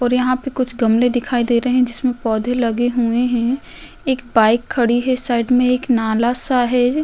और यहाँ पे कुछ गमले दिखाई दे रहे हैं जिसमें पौधे लगे हुए हैं। एक बाइक खड़ी है। साइड में एक नाला-सा है। ज --